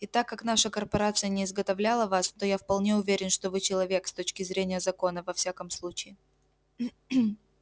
и так как наша корпорация не изготовляла вас то я вполне уверен что вы человек с точки зрения закона во всяком случае